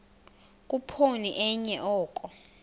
khuphoni enye oko